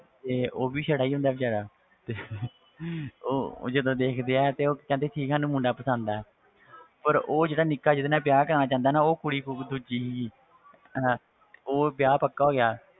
ਤੇ ਉਹ ਵੀ ਸੜਾ ਹੀ ਹੁੰਦਾ ਬੇਚਾਰਾ ਤੇ ਉਹ ਉਹ ਜਦੋਂ ਦੇਖਦੇ ਆ ਤੇ ਉਹ ਕਹਿੰਦੇ ਕਿ ਸਾਨੂੰ ਮੁੰਡਾ ਪਸੰਦ ਹੈ ਪਰ ਉਹ ਜਿਹੜਾ ਨਿੱਕਾ ਜਿਹਦੇ ਨਾਲ ਵਿਆਹ ਕਰਵਾਉਣਾ ਚਾਹੁੰਦਾ ਨਾ ਉਹ ਕੁੜੀ ਦੂਜੀ ਅਹ ਉਹ ਵਿਆਹ ਪੱਕਾ ਹੋ ਗਿਆ,